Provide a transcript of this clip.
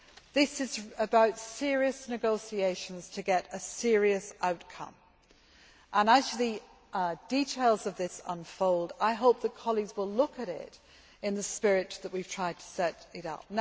This is about serious negotiations to get a serious outcome and, as the details of this unfold, I hope that colleagues will look at it in the spirit that we have tried to set it up.